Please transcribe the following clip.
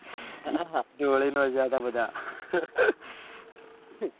જોડી નો ગયા થા બધા